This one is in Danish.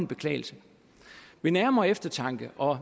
beklagelse ved nærmere eftertanke og